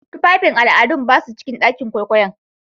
Tufafin al'adu ba su cikin ɗakin kwaikwayon.